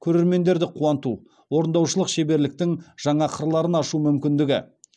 көрермендерді қуанту орындаушылық шеберліктің жаңа қырларын ашу мүмкіндігі